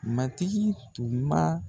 Matigi tun b'a.